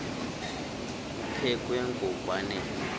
kuphekwe ngok wanele